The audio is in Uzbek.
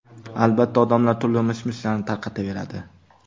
Albatta, odamlar turli mish-mishlarni tarqataveradi.